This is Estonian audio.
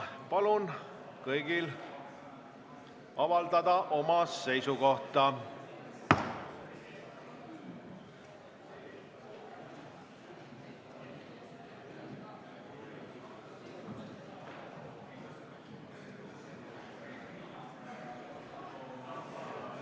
Palun kõigil avaldada oma seisukoht!